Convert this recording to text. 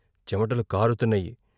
చమటలు కారుతున్నాయి.